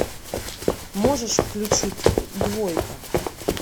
можешь включить двойка